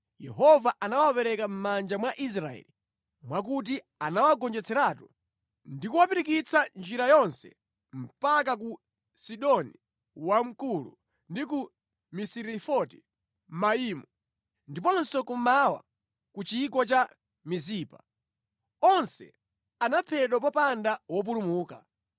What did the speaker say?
Yehova anawapereka mʼmanja mwa Israeli mwakuti anawagonjetseratu ndi kuwapirikitsa njira yonse mpaka ku Sidoni Wamkulu ndi ku Misirefoti Maimu, ndiponso kummawa ku chigwa cha Mizipa. Onse anaphedwa popanda wopulumuka.